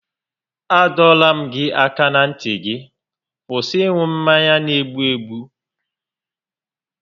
A dọọla m gị aka na ntị gị kwụsị ịṅụ mmanya n'egbu egbụ!